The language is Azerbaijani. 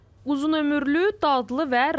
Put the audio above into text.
Uzun ömürlü, dadlı və rahat.